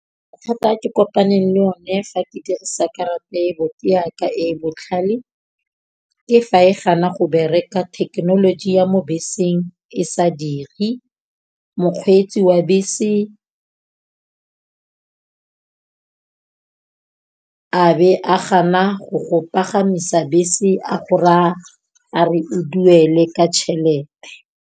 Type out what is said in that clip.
Mathata a ke kopane le o ne fa ke dirisa karata ya ka e e botlhale, ke fa e gana go bereka thekenoloji ya mo beseng e sa diri. Mokgweetsi wa bese a be a gana go go pagamisa bese a go raa a re o duele ka tšhelete.